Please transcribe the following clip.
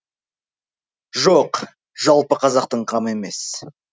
жоқ жалпы қазақтың қамы емес